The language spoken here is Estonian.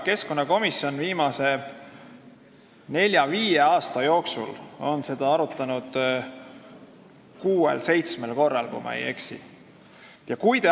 Keskkonnakomisjon on viimase nelja-viie aasta jooksul seda arutanud kuuel või seitsmel korral, kui ma ei eksi.